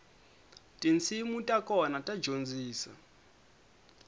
tinsimu ta kona ta dyondzisa